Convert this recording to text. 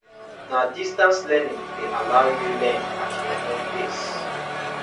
na distance learning dey allow you learn at your own pace